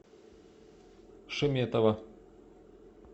шеметова